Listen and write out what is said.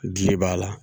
Diɲɛ b'a la